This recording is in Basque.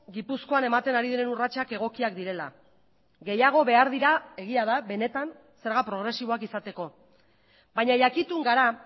gipuzkoan ematen ari diren urratsak egokiak direla gehiago behar dira egia da benetan zerga progresiboak izateko baina jakitun gara